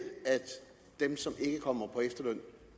at dem som ikke kommer på efterløn